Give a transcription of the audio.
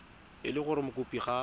e le gore mokopi ga